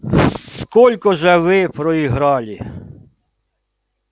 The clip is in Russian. сколько же вы проиграли